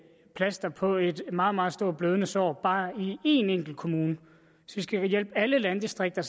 plaster på et meget meget stort blødende sår bare i en enkelt kommune så skal vi hjælpe alle landdistrikter